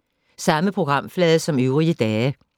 Samme programflade som øvrige dage